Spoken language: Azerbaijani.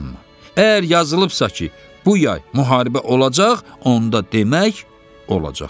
Əgər yazılıbsa ki, bu yay müharibə olacaq, onda demək olacaq.